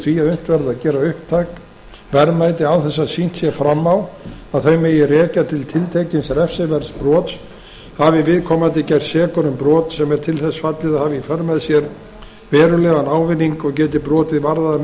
því að unnt verði að gera upptæk verðmæti án þess að sýnt sé fram á að þau megi rekja til tiltekins refsiverðs brots hafi viðkomandi gerst sekur um brot sem er til þess fallið að hafa í för með sér verulegan ávinning og geti brotið varðað að